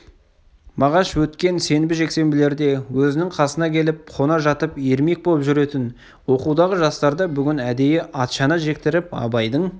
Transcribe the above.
мағаш өткен сенбі-жексенбілерде өзінің қасына келіп қона жатып ермек боп жүретін оқудағы жастарды бүгін әдейі атшана жектіріп абайдың